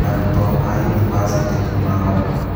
Arũto a yunivacĩtĩ nĩmagoma